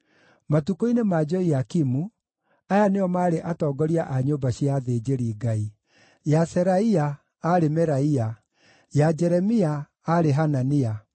Matukũ-inĩ ma Joiakimu, aya nĩo maarĩ atongoria a nyũmba cia athĩnjĩri-Ngai: ya Seraia, aarĩ Meraia; ya Jeremia, aarĩ Hanania;